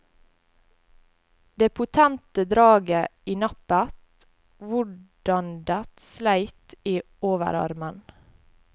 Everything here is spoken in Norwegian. Det potente draget i nappet, hvordandet sleit i overarmen.